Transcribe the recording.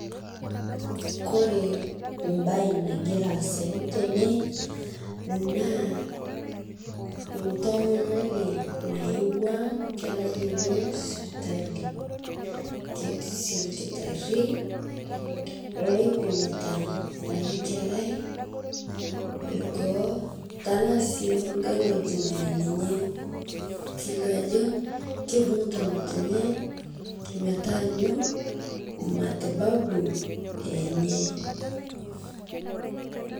Kore mbai nagira aasayu tene naa ntomononi nayeua nkerai enye sipitalii keti sii lkitarii loipimita ana kerai lgoo tanaa sii ng'ai ng'ojii neya ninyee keilio ajo keibung'uta ng'otenye metaanyu matibabu enyee.